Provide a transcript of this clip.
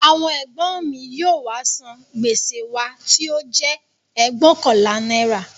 Àwọn ègbọ́n mi yóò wá san gbèsè wa tí ó jẹ́ ẹgbóokànlá náírà